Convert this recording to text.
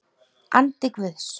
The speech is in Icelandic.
Andi Guðs.